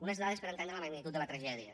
unes dades per entendre la magnitud de la tragèdia